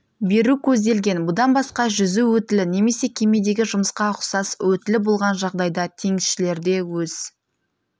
беру көзделген бұдан басқа жүзу өтілі немесе кемедегі жұмысқа ұқсас өтілі болған жағдайда теңізшілерде өз